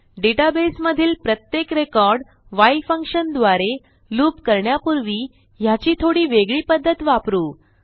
डेटाबेसमधील प्रत्येक record while function द्वारे loop करण्यापूर्वी ह्याची थोडा वेगळी पध्दत वापरू